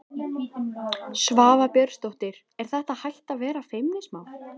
Svava Björnsdóttir: Er þetta hætt að vera feimnismál?